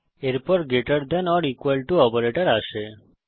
এরপর greater than or equal to operator আসে